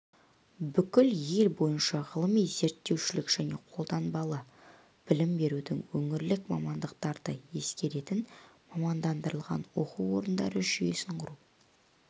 бүкіл ел бойынша ғылыми-зерттеушілік және қолданбалы білім берудің өңірлік мамандықтарды ескеретін мамандандырылған оқу орындары жүйесін құру